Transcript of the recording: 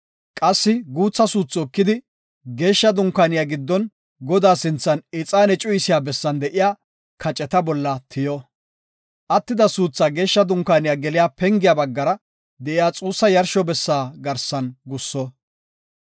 Qassi guutha suuthi ekidi, Geeshsha Dunkaaniya giddon Godaa sinthan ixaane cuyisiya bessan de7iya kaceta bolla tiyo. Attida suuthaa Geeshsha Dunkaaniya geliya pengiya baggara de7iya xuussa yarsho bessa garsan gusso.